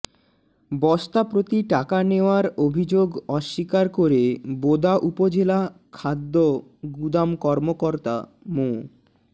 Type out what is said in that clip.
বস্তা প্রতি টাকা নেওয়ার অভিযোগ অস্বীকার করে বোদা উপজেলা খাদ্য গুদাম কর্মকর্তা মো